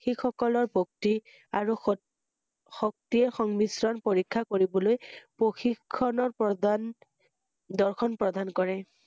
শিখ সকলৰ ভক্তি আৰু শক্তি~শক্তিয়ে সংমিশ্ৰণ পৰীক্ষা কৰিবলৈ প্ৰশি~ক্ষণৰ প্ৰদান দৰ্শন প্ৰদান কৰে ৷